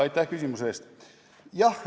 Aitäh küsimuse eest!